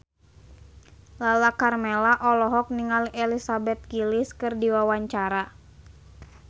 Lala Karmela olohok ningali Elizabeth Gillies keur diwawancara